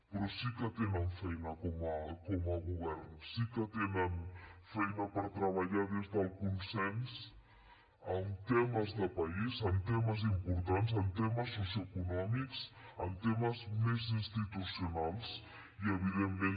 però sí que tenen feina com a govern sí que tenen feina per treballar des del consens en temes de país en temes importants en temes socioeconòmics en temes més institucionals i evidentment